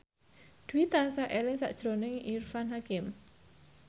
Dwi tansah eling sakjroning Irfan Hakim